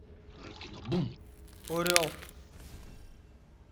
орел